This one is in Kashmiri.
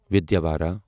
وِدیاوارا